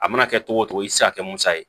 A mana kɛ togo togo i ti se ka kɛ musa ye